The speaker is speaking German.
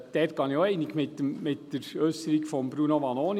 Diesbezüglich gehe ich einig mit der Äusserung von Bruno Vanoni: